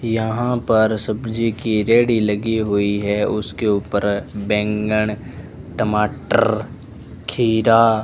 यहां पर सब्जी की रेड़ी लगी हुई है उसके ऊपर बैंगन टमाटर खीरा --